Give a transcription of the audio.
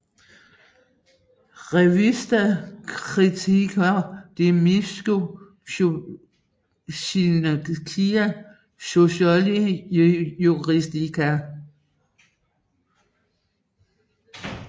Revista Crítica de Ciencias Sociales y Juridicas